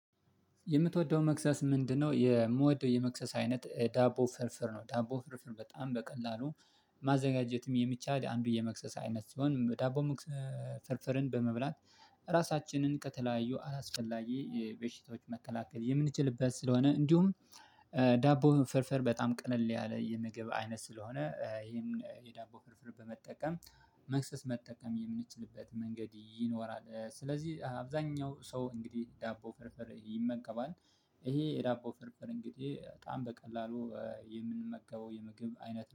የምትወደው መክሰስ ምንድነው? የምወደው የመክሰስ አይነት ዳቦ ፍርፍር ነው። ዳቦ ፍርፍር በጣም በቀላሉ ማዘጋጀትም የሚቻል አንዱ የመክሰስ አይነት ሲሆን ዳቦ ፍርፍርን በመብላት ራሳችንን ከተለያዩ አላስፈላጊ በሽታዎች መከላከል የምንችልበት ስለሆነ። እንዲሁም ዳቦ ፍርፍር በጣም ቀለል ያለ የምግብ አይነት ስለሆነ ይሄን የዳቦ ፍርፍር በመጠቀም መክሰስ መጠቀም የምንችልበት መንገድ ይኖራል። ስለዚህ አብዛኛው ሰው እንግዲህ ዳቦ ፍርፍር ይመገባል። ይሄ የዳቦ ፍርፍር እንግዲህ በጣም በቀላሉ የምንመገበው የምግብ አይነት